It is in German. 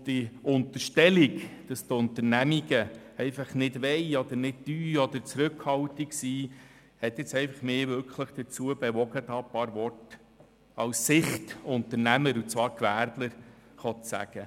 Die Unterstellung, dass die Unternehmungen einfach nicht wollen, nichts tun oder zurückhaltend sind, hat mich nun einfach dazu bewogen, hier ein paar Worte aus Sicht des Unternehmers, des Gewerblers, zu sagen.